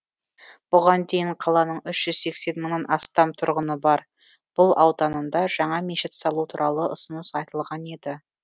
бұған дейін қаланың үш жүз сексен мыңнан астам тұрғыны бар бұл ауданында жаңа мешіт салу туралы ұсыныс айтылған еді